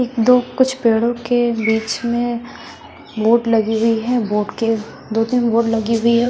एक दो कुछ पेड़ों के बीच में वोट लगी हुई है वोट के दो तीन बोर्ड लगी हुई है।